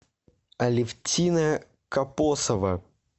алевтина капосова